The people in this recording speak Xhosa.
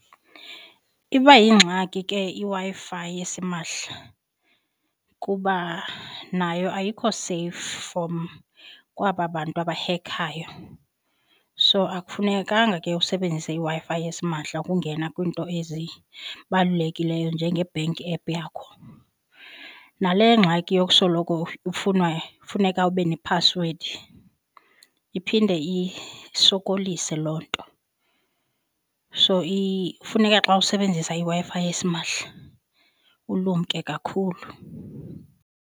Iba yingxaki ke iWi-Fi esimahla kuba nayo ayikho seyifu from kwaba bantu abahekhayo. So akufunekanga ke usebenzise iWi-Fi esimahla ukungena kwiinto ezibalulekileyo njenge-bank app yakho. Nale ngxaki yokusoloko ufunwa, funeka ube nephasiwedi iphinde isokolise loo nto. So funeka xa usebenzisa iWi-Fi esimahla ulumke kakhulu.